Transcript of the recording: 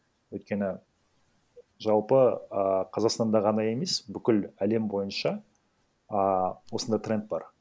өйткені жалпы ііі қазақстанда ғана емес бүкіл әлем бойынша ааа осындай тренд бар